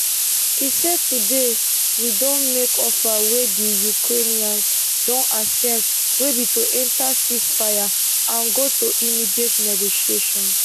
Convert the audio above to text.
e say today we don make offer wey di ukrainians don accept wey be to enta ceasefire and go to immediate negotiations